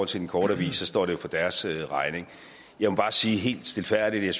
til den korte avis står det jo for deres regning jeg må bare sige helt stilfærdigt at jeg